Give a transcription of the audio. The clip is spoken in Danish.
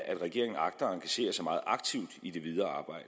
at regeringen agter at engagere sig meget aktivt i det videre